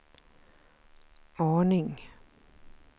aning